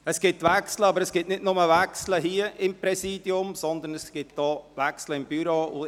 Es gibt Wechsel, nicht nur hier im Präsidium, sondern auch im Büro.